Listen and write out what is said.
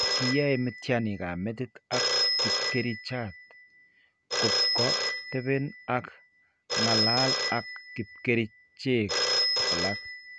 Kiyaaye miitiyaaniinikap metiit ak kibkerichaat kopko tepen ako ng'alal ak kibkerichek alak.